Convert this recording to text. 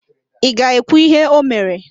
Ị ga-ekwu íhé o mere?